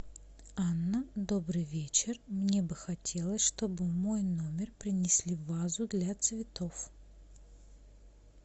анна добрый вечер мне бы хотелось чтобы в мой номер принесли вазу для цветов